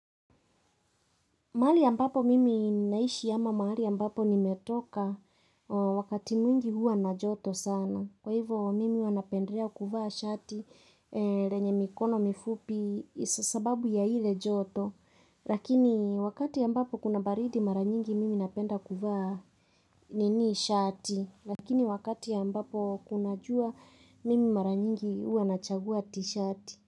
Mahali ambapo mimi ninaishi ama mahali ambapo nimetoka wakati mwingi huwa na joto sana. Kwa hivo mimi huwa napendelea kuvaa shati lenye mikono mifupi sababu ya ile joto. Lakini wakati ambapo kuna baridi mara nyingi mimi napenda kuvaa nini shati. Lakini wakati ambapo kuna jua mimi mara nyingi huwa nachagua tishati.